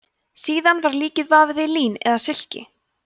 síðan var líkið vafið í lín eða silki